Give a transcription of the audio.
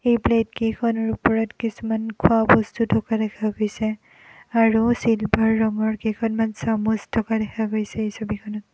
এই প্লেট কেইখনৰ ওপৰত কিছুমান খোৱা বস্তু থকা দেখা গৈছে আৰু চিলভাৰ ৰঙৰ কেইখনমান চামুচ থকা দেখা গৈছে এই ছবিখনত।